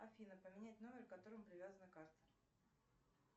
афина поменять номер к которому привязана карта